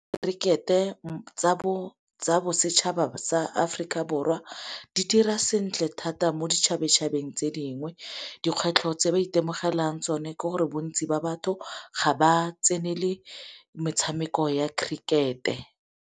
Kerikete tsa bosetšhaba sa Aforika Borwa di dira sentle thata mo ditšhabatšhabeng tse dingwe. Dikgwetlho tse ba itemogelang tsone ke gore bontsi ba batho ga ba tsenele metshameko ya kerikete.